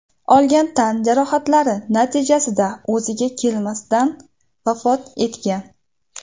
olgan tan jarohatlari natijasida o‘ziga kelmasdan vafot etgan.